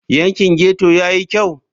Yankin ghetto ya yi kyau?